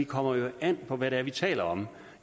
kommer an på hvad det er vi taler om